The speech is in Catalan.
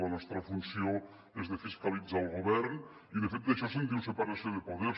la nostra funció és fiscalitzar el govern i de fet d’això se’n diu separació de poders